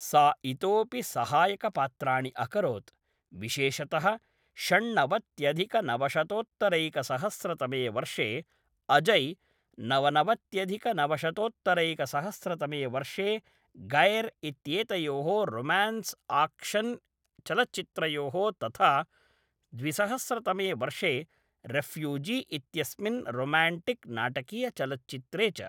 सा इतोऽपि सहायकपात्राणि अकरोत्, विशेषतः षण्नवत्यधिकनवशतोत्तरैकसहस्रतमे वर्षे अजय्, नवनवत्यधिकनवशतोत्तरैकसहस्रतमे वर्षे गैर् इत्येतयोः रोम्यान्स्आक्षन् चलच्चित्रयोः तथा द्विसहस्रतमे वर्षे रेफ्युजी इत्यस्मिन् रोम्यान्टिक् नाटकीयचलच्चित्रे च।